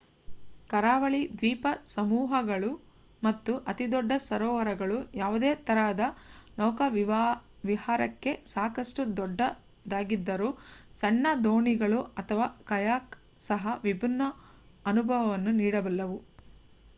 ಕರಾವಳಿ ದ್ವೀಪಸಮೂಹಗಳು ಮತ್ತು ಅತಿದೊಡ್ಡ ಸರೋವರಗಳು ಯಾವುದೇ ತರಹದ ನೌಕಾವಿಹಾರಕ್ಕೆ ಸಾಕಷ್ಟು ದೊಡ್ಡದಾಗಿದ್ದರೂ ಸಣ್ಣ ದೋಣಿಗಳು ಅಥವಾ ಕಯಾಕ್ ಸಹ ವಿಭಿನ್ನ ಅನುಭವವನ್ನು ನೀಡಬಲ್ಲವು